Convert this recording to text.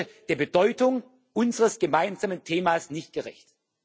Das würde der Bedeutung unseres gemeinsamen Themas nicht gerecht.